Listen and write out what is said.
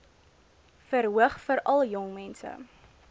verhoog veral jongmense